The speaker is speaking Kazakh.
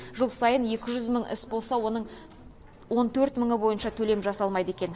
жыл сайын екі жүз мың іс болса оның он төрт мыңы бойынша төлем жасалмайды екен